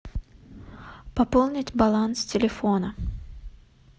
пополнить баланс телефона